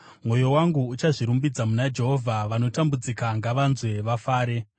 Mwoyo wangu uchazvirumbidza muna Jehovha; vanotambudzika ngavanzwe vafare.